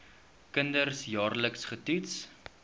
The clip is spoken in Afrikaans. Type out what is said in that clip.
kinders jaarliks getoets